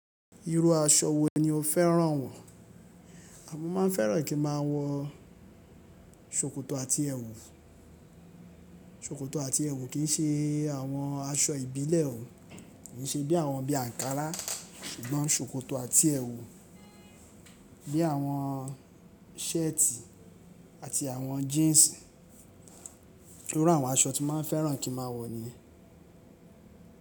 Iru aṣọ wo ni o fẹ́ràn wọ̀? A mo máa n fẹ́ràn kí a máa wọ ṣòkòtò àti ẹ̀wù. Ṣòkòtò àti ẹ̀wù kì í ṣe àwọn aṣọ ìbílẹ̀ o. Kì í ṣe bí àwọn bí àǹkárá ṣùgbọ́n ṣòkòtò àti ẹ̀wù bí àwọn shirt àti àwọn jeans. Iru àwọn aṣọ tí máa n fẹ́ràn kí n máa wọ̀ niyen.